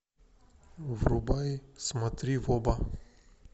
врубай смотри в оба